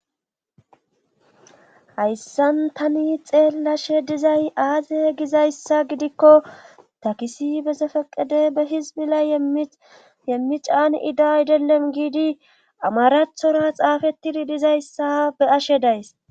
hayssan tani xeellashe dizay aaze gizayssa gidikko takisi be sefeqede be hizbila yemmicaan idaydelen giidi amarathora xaafettidi dizayssa be ashe days